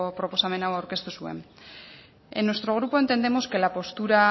proposamena aurkeztu zuen en nuestro grupo entendemos que la postura